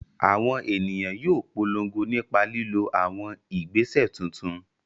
Àwọn ènìyàn yóò polongo nípa lílo àwọn ìgbésẹ̀ tuntun